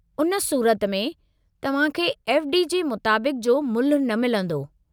हुन सूरत में, तव्हां खे एफ़. डी. जे मुताबिक़ु जो मुल्हु न मिलंदो।